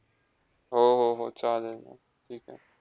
हो, हो, हो. चालेल ठीक आहे.